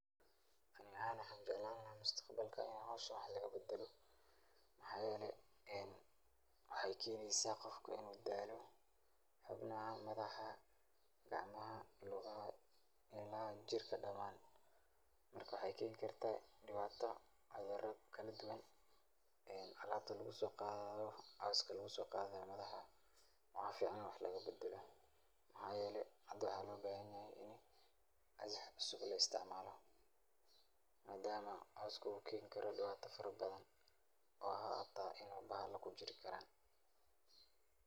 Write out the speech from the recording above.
Ani ahaan waxaan jeclaan lahaa mustaqbalka in howshan wax laga bedelo waxaa yeele waxaay keeneysa qofka inuu daalo xubnaha, madaxa, gacmaha, lugaha ila jirka damaan marka waxeey kartaa dibaata cudura kala duban, alaabta lagu soo qaado, cooska lagu soo qaadayo madaxa waxaa fican in wax kale lagu bedelo, waxaa yeele hada waxaa loo bahan yahay in agab cusub la isticmaalo, madama cooska uu keeni karo dibaata fara badan oo xitaa in bahala kujiri karaan.